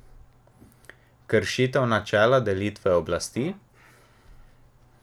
Kršitev načela delitve oblasti?